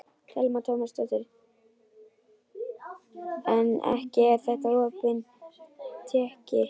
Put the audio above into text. Telma Tómasson: En ekki er þetta opin tékki þá?